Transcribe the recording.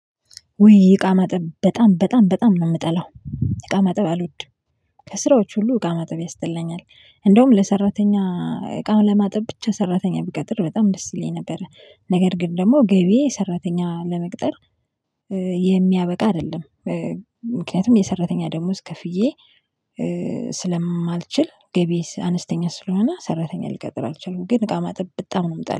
ውይ እቃ ማጠብ በጣም በጣም በጣም ነው የምጠላው እቃ ማጠብ አልወድም። ከስራዎች ሁሉ እቃ ማጠብ ያስጠላኛል። እንደውም ለሰራተኛ እቃውን ለማጠብ ብቻ ሰራተኛ ብቀጥር በጣም ደስ ይለኝ ነበረ። ነገር ግን ደግሞ ገቢዬ ሰራተኛ ለመቅጠር የሚያበቃ አይደለም። ምክንያቱም የሰራተኛ ደሞዝ ከፍዬ ስለማልችል ገቢዬ አነስተኛ ስለሆነ ሰራተኛ ልቀጥር አልችልም። ግን እቃ ማጠብ በጣም ነው የምጠላው